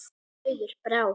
Auður Brá.